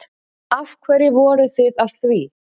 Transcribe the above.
Af hverju voruð þið að því?